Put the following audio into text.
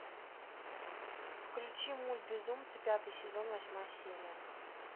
включи мульт безумцы пятый сезон восьмая серия